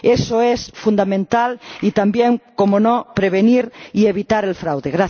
Eso es fundamental y también, cómo no, prevenir y evitar el fraude.